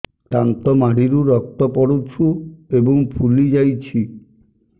ଦାନ୍ତ ମାଢ଼ିରୁ ରକ୍ତ ପଡୁଛୁ ଏବଂ ଫୁଲି ଯାଇଛି